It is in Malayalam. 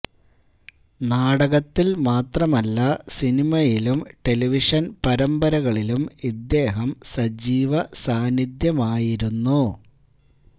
നാടകത്തില് മാത്രമല്ല സിനിമയിലും ടെലിവിഷന് പരമ്പരകളിലും ഇദ്ദേഹം സജീവ സാന്നിധ്യമായിരുന്നു